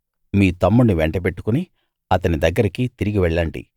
మీ తమ్ముణ్ణి వెంటబెట్టుకుని అతని దగ్గరికి తిరిగి వెళ్ళండి